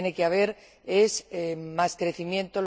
Lo que tiene que haber es más crecimiento.